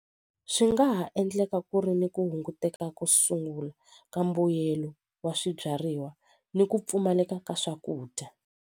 Swi nga ha endleka ku ri ni ku hunguteka ko sungula ka mbuyelo wa swibyariwa ni ku pfumaleka ka swakudya.